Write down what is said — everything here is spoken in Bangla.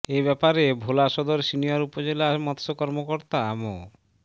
এ ব্যাপারে ভোলা সদর সিনিয়র উপজেলা মৎস্য কর্মকর্তা মো